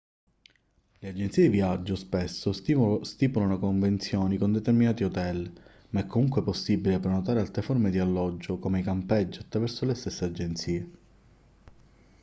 le agenzie di viaggio spesso stipulano convenzioni con determinati hotel ma è comunque possibile prenotare altre forme di alloggio come i campeggi attraverso le stesse agenzie